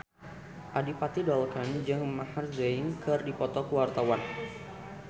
Adipati Dolken jeung Maher Zein keur dipoto ku wartawan